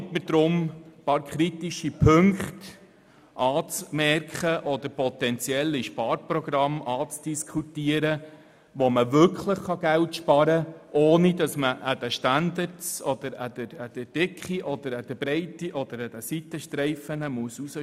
Erlauben Sie mir deshalb, ein paar kritische Punkte anzusprechen oder potenzielle Sparprogramme anzudiskutieren, wo wirklich Geld gespart werden kann, ohne dass bei den Standards, der Dicke, der Breite oder an den Seitenstreifen gespart werden muss.